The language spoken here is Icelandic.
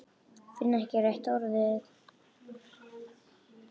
Finn ekki rétta orðið.